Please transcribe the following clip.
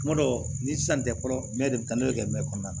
N kuma dɔ ni sisan tɛ fɔlɔ mɛ de bɛ taa n'o bɛ kɛ mɛ kɔnɔna na